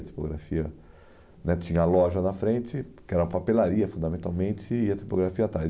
A tipografia né tinha a loja na frente, que era a papelaria, fundamentalmente, e a tipografia atrás.